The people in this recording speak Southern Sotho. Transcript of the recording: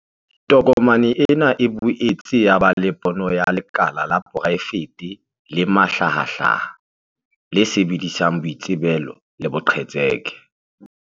Tokomane ena e boetse ya ba le pono ya 'lekala la poraefete le mahlahahlaha, le sebedisang boitsebelo le boqhetseke ba